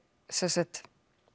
sem sagt